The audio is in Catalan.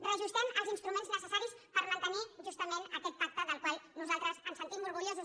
reajustem els instruments necessaris per mantenir justament aquest pacte del qual nosaltres ens sentim orgullosos